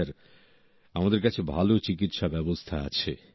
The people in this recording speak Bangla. স্যার আমাদের কাছে ভালো চিকিৎসা ব্যবস্থা আছে